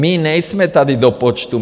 My nejsme tady do počtu.